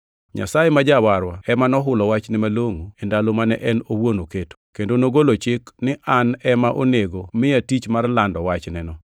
Nyasaye ma Jawarwa ema nohulo wachne malongʼo e ndalo mane en owuon oketo, kendo nogolo chik ni an ema onego miya tich mar lando wachneno.